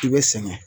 I bɛ sɛgɛn